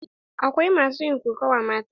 Akwai masu yin kokawa mata.